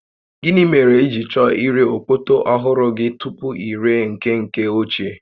Gịnị mere i ji chọọ ire okpoto ọhụrụ gị tupu i ree nke nke ochie?